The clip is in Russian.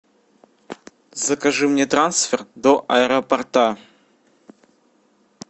закажи мне трансфер до аэропорта